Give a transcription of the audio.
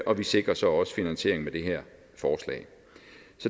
og vi sikrer så også finansieringen med det her forslag